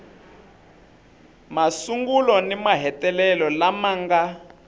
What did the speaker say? masungulo ni mahetelelo lama nga